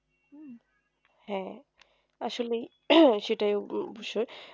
হ্যাঁ আসলে সেটাই বিষয়